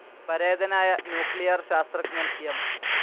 പരേതനായ ന്യൂക്ലിയർ ശാസ്ത്രജ്ഞൻ എം.